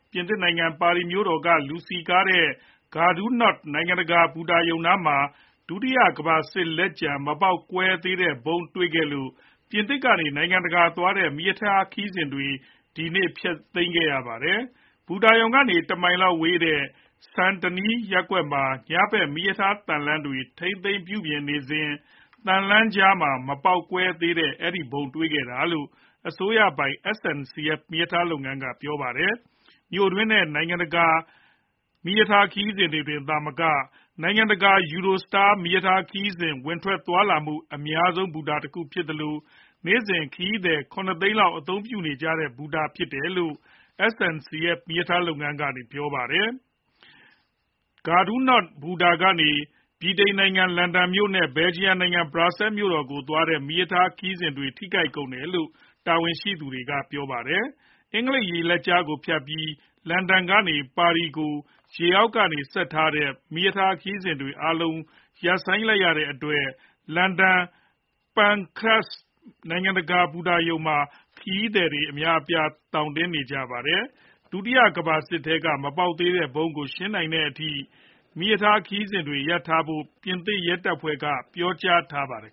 ပြင်သစ်နိုင်ငံ ပါရီမြို့တော်က လူစည်ကားတဲ့ Gare du Nord (ဂါဒူနောဒ့်) နိုင်ငံတကာ ဘူတာရုံနားမှာ ဒုတိယကမ္ဘာစစ်ပွဲတုန်းက မပေါက်ကွဲသေးတဲ့ ဗုံးတွေ့ခဲ့လို့ ပြင်သစ်ကနေ နိုင်ငံတကာသွားတဲ့ မီးရထားခရီးစဉ်တွေ ဒီနေ့ ဖျက်ခဲ့ရပါတယ်။ ဘူတာရုံကနေ တမိုင်ခွဲလောက်ဝေးတဲ့ Saint Denis (ဆန်ဒနီး) ရပ်ကွက်မှာ မီးရထားသံလမ်းတွေကို ညဘက်မှာထိန်းသိမ်းပြုပြင်ရေးလုပ်စဉ် သံလမ်းတွေကြားမှာ မပေါက်ကွဲသေးတဲ့ဗုံးကို တွေ့ခဲ့တာလို့ အစိုးရပိုင် SNCF မီးရထားလုပ်ငန်းက ပြောပါတယ်။ Gare du Nord ဘူတာဟာ မြို့တွင်းနဲ့ နိုင်ငံတွင်း မီးရထားခရီးစဉ်တွေသာမက နိုင်ငံတကာသွားတဲ့ Eurostar မီးရထားခရီးစဉ်တွေ ဝင်ထွက်သွားလာနေတဲ့ အလုပ်အများဆုံး ဘူတာတခုဖြစ်သလို နေ့စဉ် ခရီးသည် (၇) သိန်းလောက် အသုံးပြုနေကြတဲ့ ဘူတာဖြစ်တယ်လို့ SNCF မီးရထားလုပ်ငန်းက ပြောပါတယ်။ Gare du Nord (ဂါဒူနောဒ့်) ဘူတာကနေ ဗြိတိန်နိုင်ငံ လန်ဒန်မြို့တော်နဲ့ Belgium နိုင်ငံ Brussels မြို့တော်ကို သွားတဲ့ မီးရထားခရီးစဉ်တွေ ထိခိုက်တယ်လို့ တာဝန်ရှိသူတွေက ပြောပါတယ်။ အင်္ဂလိပ်ရေလက်ကြားကို ဖြတ်ပြီး လန်ဒန်ကနေ ပါရီကို ရေအောက်ကနေဆက်ထားတဲ့ မီးရထားခရီးစဉ်အားလုံး ရပ်ဆိုင်းထားတဲ့အတွက် လန်ဒန် St. Pancras နိုင်ငံတကာဘူတာရုံမှာ ခရီးသည်တွေ သောင်တင်နေကြပါတယ်။ ဒုတိယကမ္ဘာစစ်ထဲက မပေါက်သေးတဲ့ ဗုံးကို ရှင်းနိုင်တဲ့အထိ မီးရထားခရီးစဉ်တွေရပ်ထားဖို့ ပြင်သစ်ရဲတပ်ဖွဲ့က ပြောကြားထားပါတယ်